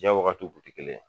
Jiyan wagatiw kun ti kelen.